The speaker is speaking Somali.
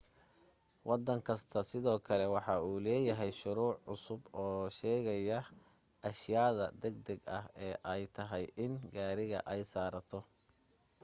waddan kasta sidoo kale waxa uu leeyahay shuruuc cusub oo sheegaya ashayaada degdeg ah ee ay tahay in gaariga ay saaraato